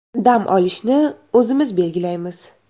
Dam olishni o‘zimiz belgilaymiz.